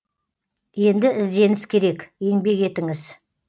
енді ізденіс керек еңбек етіңіз